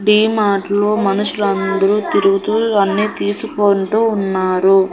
డీమార్ట్ లో మనుషులందరూ తిరుగుతూ అన్నీ తీసుకొంటూ ఉన్నారు.